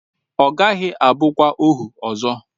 Ọ gaghị abụkwa ohu ọzọ.